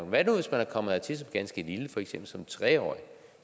hvad nu hvis man er kommet hertil som ganske lille for eksempel som tre årig